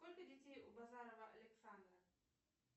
сколько детей у базарова александра